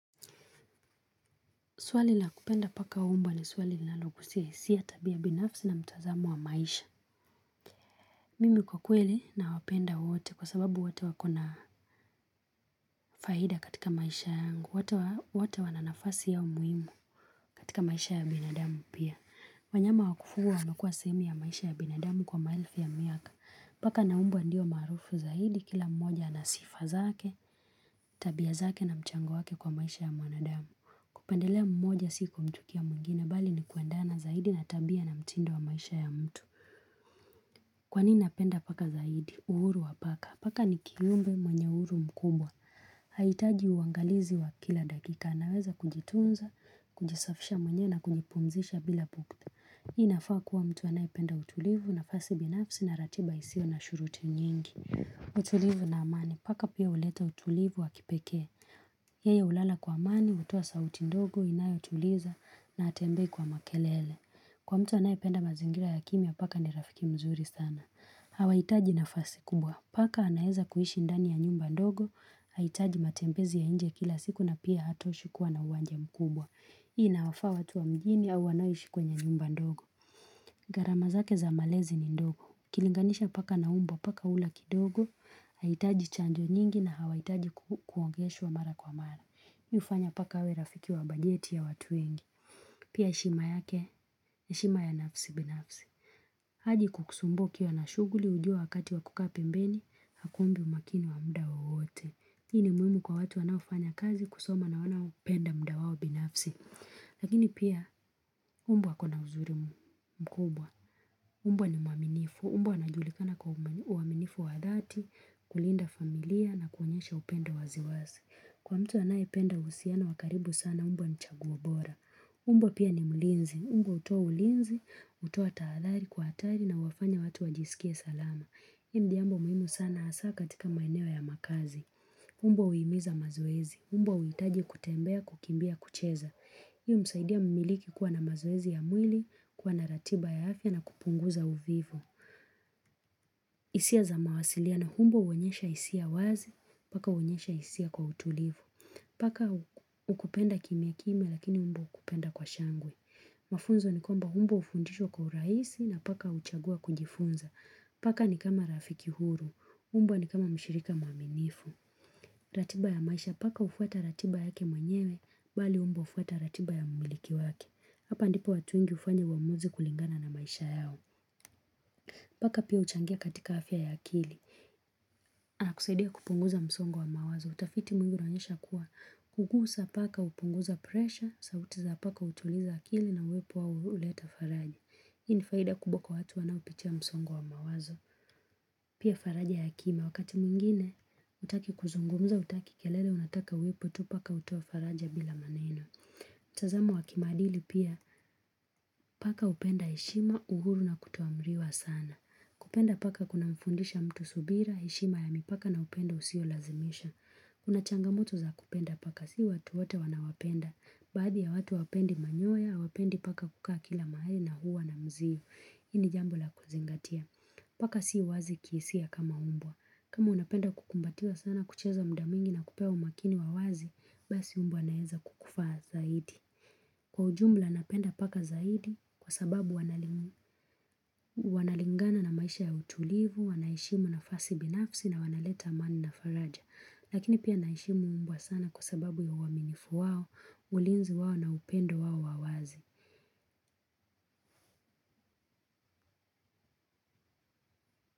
Suali na kupenda paka umbwa ni suali linalogusia isiya tabia binafsi na mtazamo wa maisha. Mimi kwa kweli nawapenda wote kwa sababu wote wakona faida katika maisha yangu. Wote wananafasi yao muhimu katika maisha ya binadamu pia. Wanyama wakufuwa wamekua sehemu ya maisha ya binadamu kwa maelfu ya miaka. Paka na umbwa ndio marufu zaidi kila mmoja na sifa zake, tabia zake na mchango wake kwa maisha ya manadamu. Kupendelea mmoja siku kumchukiya muingine, bali ni kuendana zaidi na tabia na mtindo wa maisha ya mtu. Kwanini napenda paka zaidi? Uhuru wa paka. Paka ni kiumbe mwenye uhuru mkubwa. Haitaji uangalizi wa kila dakika. Anaweza kujitunza, kujisafisha mwenyewe na kunjipumzisha bila pukta. Inafaa kuwa mtu anayependa utulivu nafasi binafsi na ratiba isio na shuruti nyingi. Utulivu na amani. Paka pia uleta utulivu wa kipeke. Yeye hulala kwa amani, utuwa sauti ndogo, inayotuliza na hatembei kwa makelele Kwa mtu anayipenda mazingira ya kimia paka ni rafiki mzuri sana Hawaitaji nafasi kubwa Paka anaeza kuhishi ndani ya nyumba ndogo Haitaji matembezi ya inje kila siku na pia hatoshi kuwa na uwanji mkubwa Hii inawafaa watu wa mjini au wanoishi kwenye nyumba ndogo garama zake za malezi ni ndogo uKilinganisha paka na umbwa paka ula kidogo haitaji chanjo nyingi na hawaitaji kuogesha wa mara kwa mara ni hufanya paka awe rafiki wa bajeti ya watu wengi pia heshima yake ni heshima ya nafsi binafsi haji kukusumbua ukiwa na shuguli ujua wakati wa kuka pembeni hakuumbi umakini wa mda wowote hii ni muhimu kwa watu wanafanya kazi kusoma na wanaoupenda mda wao binafsi lakini pia umbwa akona uzurimu mkubwa umbwa ni mwaminifu, umbw anajulikana kwa uaminifu wa dhati kulinda familia na kuonyesha upenda waziwasi Kwa mtu anaye penda usiano wa karibu sana umbwa ni chaguo bora umbwa pia ni mlinzi Umba utuwa ulinzi, utuwa taathari kwa atari na wafanya watu wajisikie salama hii ni jambo muhimu sana asa katika maeneo ya makazi umbwa huimiza mazoezi umbwa huitaji kutembea kukimbia kucheza Hii humsaidia mimiliki kuwa na mazoezi ya mwili kuwa na ratiba ya afya na kupunguza uvivu isia za mawasiliano umbwa uonyesha isia wazi Paka uonyesha isia kwa utulivu Paka ukupenda kimia kimia lakini umbwa ukupenda kwa shangwe Mafunzo ni kwamba umbwa ufundishwa kwa uraisi na paka uchagua kujifunza Paka ni kama rafiki huru umbwa ni kama mshirika mwaminifu ratiba ya maisha paka ufuata ratiba yake mwenyewe Bali umbwa ufuata ratiba ya mmiliki waki Hapa ndipo watu wengi ufanya uamuzi kulingana na maisha yao Paka pia uchangia katika afya ya akili na kusaidia kupunguza msongo wa mawazo, utafiti mwiniu unonyesha kuwa kugusa paka upunguza presha, sauti za paka utuliza akili na uwepo wao huleta faraji. Hii ni faida kubwa watu wanaopitia msongo wa mawazo. Pia faraji ya akimia wakati mwingine, utaki kuzungumza, utaki kelele unataka wepo, tu paka utoa faraja bila maneno. Tazamo wakimadili pia, paka upenda heshima, uhuru na kutoamriwa sana. Kupenda paka kuna mfundisha mtu subira, heshima ya mipaka na upendo usio lazimisha Kuna changamoto za kupenda paka si watu wote wanawapenda Baadhi ya watu hawapendi manyoya, hawapendi paka kukaa kila mahali na huwa na mziu hii ni jambo la kuzingatia Paka si wazi kisia kama umbwa kama unapenda kukumbatiwa sana kucheza mdamwingi na kupewa umakini wawazi Basi umbwa anaeza kukufa zaidi Kwa ujumla napenda paka zaidi kwa sababu wanalingana na maisha ya utulivu, wanaheshimu nafasi binafsi na wanaleta amani na faraja. Lakini pia naheshimu umbwa sana kwa sababu ya uwaminifu wao, ulinzi wao na upendo wao wawazi.